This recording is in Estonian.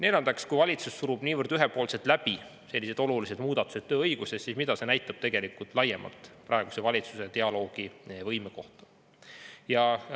Neljandaks, kui valitsus surub niivõrd ühepoolselt läbi sellised olulised muudatused tööõiguses, siis mida see näitab tegelikult laiemalt praeguse valitsuse dialoogivõime kohta?